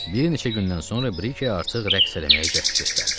Bir neçə gündən sonra Brike artıq rəqs eləməyə cəhd göstərdi.